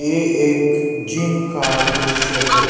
ये एक जिम का दूृश्य है।